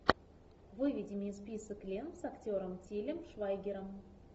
выведи мне список лент с актером тилем швайгером